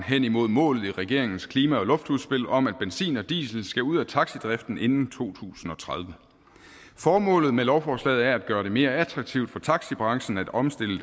hen imod målet i regeringens klima og luftudspil om at benzin og diesel skal ud af taxadriften inden to tusind og tredive formålet med lovforslaget er at gøre det mere attraktivt for taxabranchen at omstille